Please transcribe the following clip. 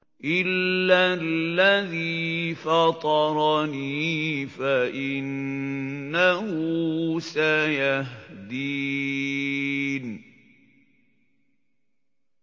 إِلَّا الَّذِي فَطَرَنِي فَإِنَّهُ سَيَهْدِينِ